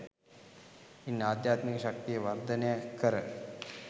ඉන් අධ්‍යාත්මික ශක්තිය වර්ධනය කර